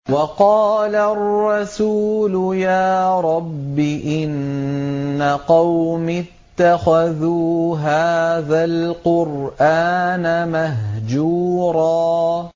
وَقَالَ الرَّسُولُ يَا رَبِّ إِنَّ قَوْمِي اتَّخَذُوا هَٰذَا الْقُرْآنَ مَهْجُورًا